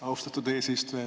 Austatud eesistuja!